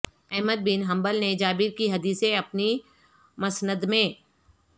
Ahmad bin Hanbal نے Jabir کی حدیثیں اپنی مسند میں